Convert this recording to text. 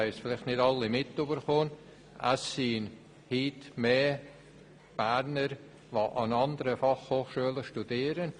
Es gibt heute mehr Berner, die an anderen Fachhochschulen studieren.